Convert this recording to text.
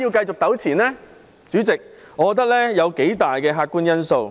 主席，我認為有數大客觀因素。